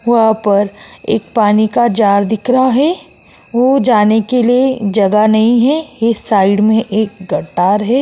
वहाँ पर एक पानी का जार दिख रहा है। वो जाने के लिए जगह नहीं है। एक साइड में एक कतार है।